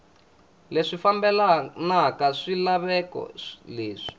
leswi fambelanaka na swilaveko leswi